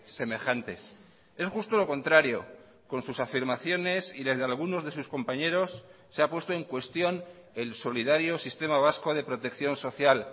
semejantes es justo lo contrario con sus afirmaciones y desde algunos de sus compañeros se ha puesto en cuestión el solidario sistema vasco de protección social